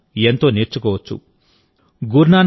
దాన్నుండి మనం ఎంతో నేర్చుకోవచ్చు